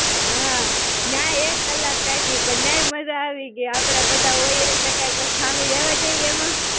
હાં, ન્યાં ય એક કલાક કાયઢી. પણ ન્યાં ય મજા આવી કે આપડા બધા હોઈએ એટલે કાંઈ ખામી રહેવા દઈએ એમાં.